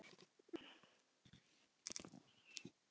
Ég er klökk.